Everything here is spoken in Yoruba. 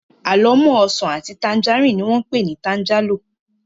Àlọ́mọ́ ọsàn àti tangerine ni wón pé ni tangerlo